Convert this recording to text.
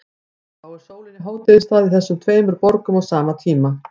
Þá er sólin í hádegisstað í þessum tveimur borgum á sama tíma.